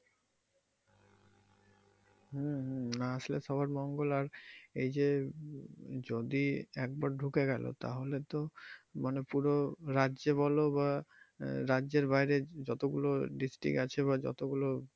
হম হম না আসলে সবার মঙ্গল আর এই যে যদি একবার ঢুকে গেলো তাহলে তো মানে পুরো রাজ্যে বলো বা আহ রাজ্যের বাইরে যতগুলো district আছে বা যতগুলো।